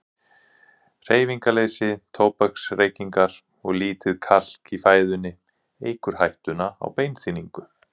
Hreyfingarleysi, tóbaksreykingar og lítið kalk í fæðunni eykur hættuna á beinþynningu.